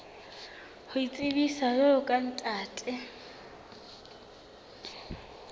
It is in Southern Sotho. ho itsebisa jwalo ka ntate